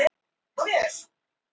Sérstök réttindi hluta.